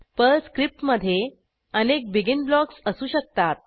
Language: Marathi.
पर्ल स्क्रिप्टमधे अनेक बेगिन ब्लॉक्स असू शकतात